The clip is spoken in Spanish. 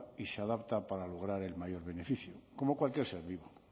y se adapta para lograr el mayor beneficio como cualquier ser vivo